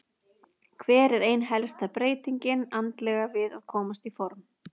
Hver er ein helsta breytingin andlega við að komast í form?